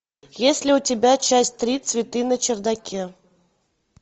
есть ли у тебя часть три цветы на чердаке